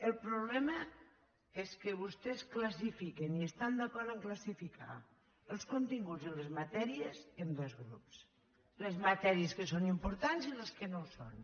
el problema és que vostès classifiquen i estan d’acord a classificar els continguts i les matèries en dos grups les matèries que són importants i les que no ho són